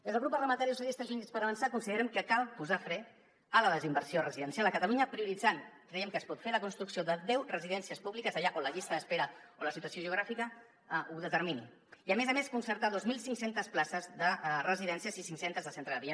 des del grup parlamentari socialistes i units per avançar considerem que cal posar fre a la desinversió residencial a catalunya prioritzant creiem que es pot fer la construcció de deu residències públiques allà on la llista d’espera o la situació geogràfica ho determini i a més a més concertar dos mil cinc cents places de residències i cinc·centes de centre de dia